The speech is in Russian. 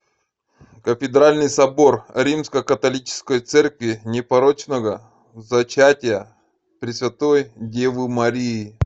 кафедральный собор римско католической церкви непорочного зачатия пресвятой девы марии